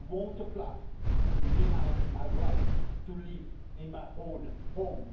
I won't apply to be denied my right to live in my own home.